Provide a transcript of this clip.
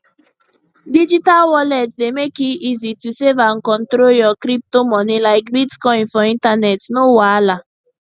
digital wallet dey mek e easy to save and control your crypto money like bitcoin for internet no wahala